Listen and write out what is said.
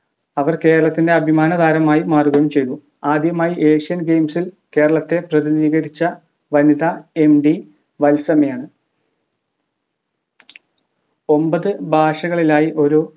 അവർ കേരളത്തിൻ്റെ അഭിമാനതാരമായി മാറുകയും ചെയ്തു ആദ്യമായി asian games ൽ കേരളത്തെ പ്രതിനിധീകരിച്ച വനിത എം വി വത്സമ്മയാണ് ഒമ്പത് ഭാഷകളിലായി ഓരോ